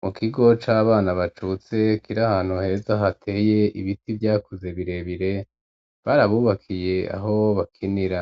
Mu kigo cabana bacutse kiri ahantu heza hateye ibiti vyakuze birebire barabubakiye aho bakinira